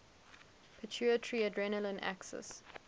pituitary adrenal axis